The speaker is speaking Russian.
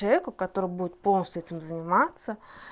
человеку который будет полностью этим заниматься